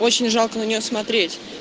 очень жалко на нее смотреть